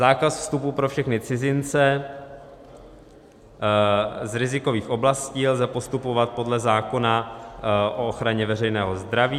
Zákaz vstupu pro všechny cizince z rizikových oblastí - lze postupovat podle zákona o ochraně veřejného zdraví.